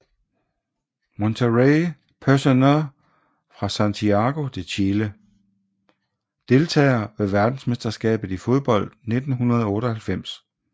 Monterrey Personer fra Santiago de Chile Deltagere ved verdensmesterskabet i fodbold 1998